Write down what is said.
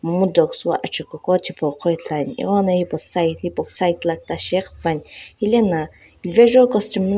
achugho akichipu ko ithulu ane egho na hepu side la kiita shi ghipane helae na vazo.